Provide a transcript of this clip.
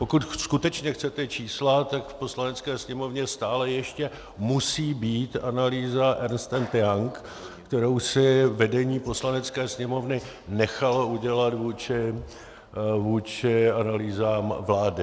Pokud skutečně chcete čísla, tak v Poslanecké sněmovně stále ještě musí být analýza Ernst & Young, kterou si vedení Poslanecké sněmovny nechalo udělat vůči analýzám vlády.